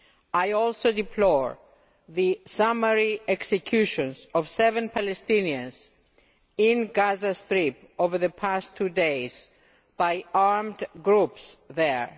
I also deplore the summary executions of seven Palestinians in the Gaza Strip over the last two days by armed groups there.